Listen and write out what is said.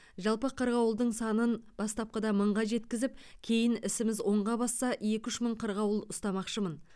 жалпы қырғауылдың санын бастапқыда мыңға жеткізіп кейін ісіміз оңға басса екі үш мың қырғауыл ұстамақшымын